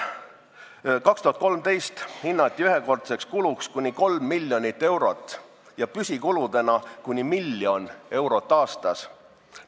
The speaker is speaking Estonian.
Aastal 2013 hinnati ühekordseks kuluks kuni 3 miljonit eurot ja püsikuludeks kuni miljon eurot aastas.